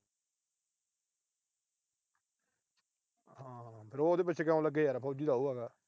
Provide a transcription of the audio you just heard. ਫਿਰ ਉਹ ਉਹਦੇ ਪਿੱਛੇ ਕਿਉਂ ਲੱਗੇ ਯਾਰ, ਫੌਜੀ ਤਾਂ ਉਹ ਹੈਗਾ।